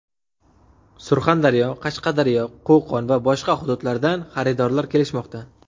Surxondaryo, Qashqadaryo, Qo‘qon va boshqa hududlardan xaridorlar kelishmoqda.